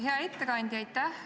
Hea ettekandja, aitäh!